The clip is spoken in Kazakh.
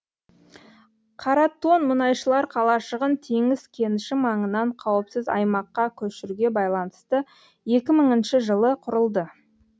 қаратон мұнайшылар қалашығын теңіз кеніші маңынан қауіпсіз аймаққа көшіруге байланысты екі мыңыншы жылы құрылды